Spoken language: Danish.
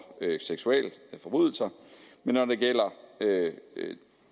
seksualforbrydelser men når